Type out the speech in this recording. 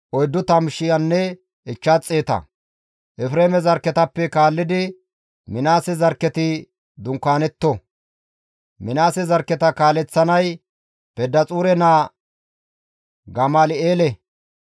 Efreeme zarkketappe kaallidi Minaase zarkketi dunkaanetto; Minaase zarkketa kaaleththanay Pedaxuure naa Gamal7eele.